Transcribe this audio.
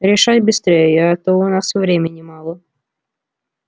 решай быстрее а то у нас времени мало